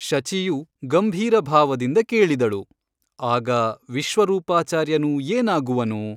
ಶಚಿಯು ಗಂಭೀರಭಾವದಿಂದ ಕೇಳಿದಳು ಆಗ ವಿಶ್ವರೂಪಾಚಾರ್ಯನು ಏನಾಗುವನು ?